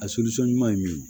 A ɲuman ye min ye